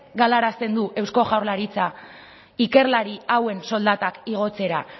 galarazten du eusko jaurlaritza ikerlari hauen soldatak igotzera